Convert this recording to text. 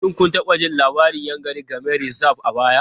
Shin kun taɓa jin labarin Yankari Game Reserve a baya?